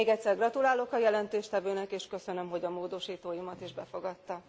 Még egyszer gratulálok a jelentéstevőnek és köszönöm, hogy a módosítóimat is befogadta.